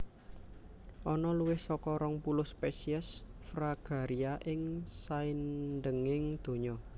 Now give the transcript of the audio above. Ana luwih saka rong puluh spesies Fragaria ing saindhenging donya